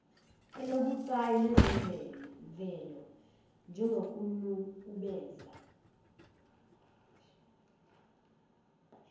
olubucayi lwezemvelo njengokunukubeza